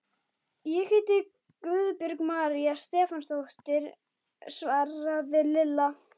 Ég heiti Guðbjörg María Stefánsdóttir svaraði Lilla.